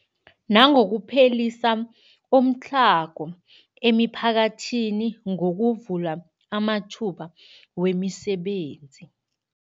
Nangokuphelisa umtlhago emiphakathini ngokuvula amathuba wemisebenzi.